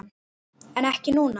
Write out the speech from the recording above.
En ekki núna?